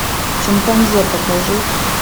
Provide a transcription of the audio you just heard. шимпанзе покажи